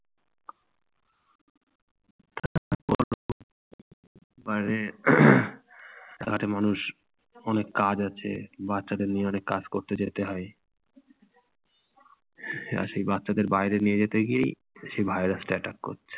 মানে সারাটি মানুষ অনেক কাজ আছে বাচ্চাদের নিয়ে অনেক কাজ করতে যেতে হয়। আর সেই বাচ্চাদের বাইরে নিয়ে যেতে গিয়েই সেই virus টা attack করছে।